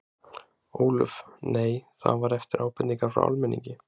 Ólöf: Nei, það var eftir ábendingar frá almenningi?